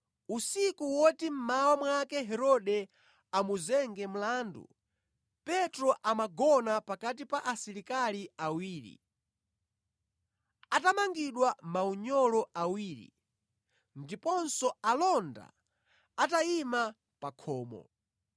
Usiku woti mmawa mwake Herode amuzenga mlandu, Petro amagona pakati pa asilikali awiri, atamangidwa maunyolo awiri, ndiponso alonda atayima pa khomo.